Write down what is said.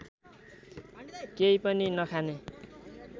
केही पनि नखाने